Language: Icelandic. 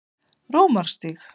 Rómarstíg